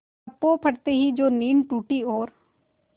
पर पौ फटते ही जो नींद टूटी और